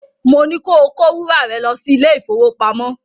Mo ní ko kó wúrà rẹ lọ́ sí ilé-ìfowópamọ́